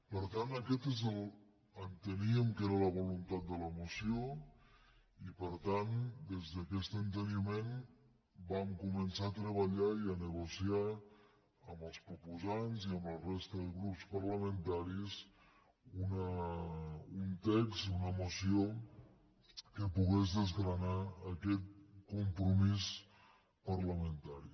per tant aquesta enteníem que era la voluntat de la moció i per tant des d’aquest enteniment vam començar a treballar i a negociar amb els proposants i amb la resta de grups parlamentaris un text una moció que pogués desgranar aquest compromís parlamentari